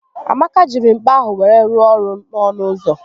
Amaka jiri mkpa ahụ wee rụọ ọrụ n'ọnụ ụzọ